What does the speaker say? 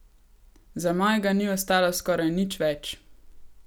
Za mojega ni ostalo skoraj nič več!